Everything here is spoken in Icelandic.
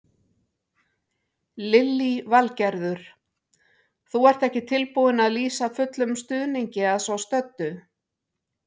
Lillý Valgerður: Þú ert ekki tilbúinn að lýsa fullum stuðningi að svo stöddu?